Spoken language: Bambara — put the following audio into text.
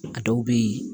A dɔw bɛ yen